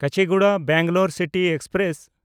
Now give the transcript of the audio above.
Kacheguda Bengaluru city express